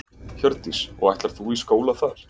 Hjördís: Og ætlar þú í skóla þar?